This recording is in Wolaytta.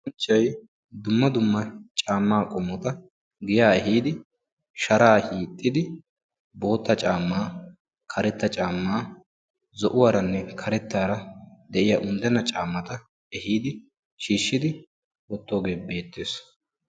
Zal"anchchay dumma dumma caammaa qommota giya ehiidi, sharaa hiixxidi bootta caammaa, karetta caammaa, zo'uwaranne karettaara de'iya unddenna caammata ehiidi shiishshidi wottoogee beettees.